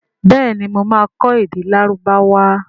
béèni mọ má kọ èdè Lárúbáwá.